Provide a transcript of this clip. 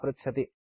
सम्पर्कार्थं धन्यवादः